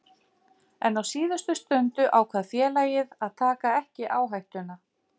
En á síðustu stundu ákvað félagið að taka ekki áhættuna.